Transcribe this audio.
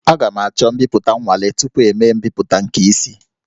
Aga m achọ mbipụta nwale tupu emee mbipụta nke isi